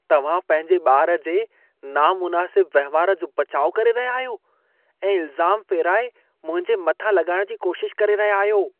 तव्हां पंहिंजे ॿारु जे नामुनासिब वहिंवार जो बचाउ करे रहिया आहियो ऐं इल्ज़ाम फेराइ मुंहिंजे मथां लॻाइण जी कोशिश करे रहिया आहियो।